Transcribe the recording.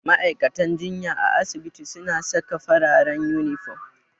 Ma'aikatan jinya a asibiti suna saka fararen inifom.